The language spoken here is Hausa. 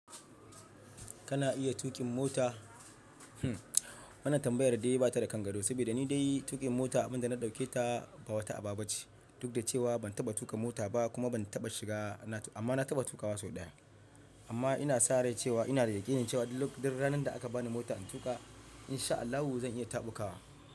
Kana iya tuƙin mota? Wannan tambayar da dai ba ta da kan gado, saboda ni dai tuƙin mota abunda na dauke ta ba wata aba ba ce, duk da cewa ban taba tuƙa mota ba kuma ban taba shiga, amma na taba tukawa sau daya. Amma ina sa rai cewa ina da yakin cewa duk ranan da aka bani mota in tuƙa in sha Allahu zan iya tabukowa.